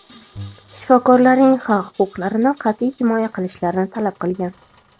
shifokorlarning haq-huquqlarini qat’iy himoya qilishlarini talab qilgan.